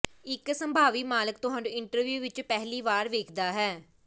ਇੱਕ ਸੰਭਾਵੀ ਮਾਲਕ ਤੁਹਾਨੂੰ ਇੰਟਰਵਿਊ ਵਿੱਚ ਪਹਿਲੀ ਵਾਰ ਵੇਖਦਾ ਹੈ